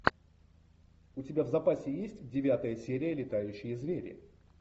у тебя в запасе есть девятая серия летающие звери